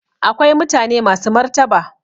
Akwai mutane masu martaba